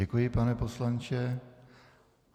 Děkuji, pane poslanče.